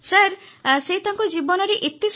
ଆଚ୍ଛା ତମେ ମାଁଙ୍କଠାରୁ କେଉଁ କଥାସବୁ ଶିଖୁଛ